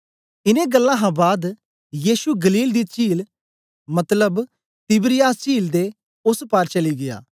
इनें गल्लां हां बाद यीशु गलील दी चील मतबल तिबिरियास चील दे ओस पार चली गीया